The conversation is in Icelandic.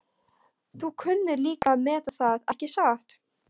Þú kunnir líka að meta það, ekki satt?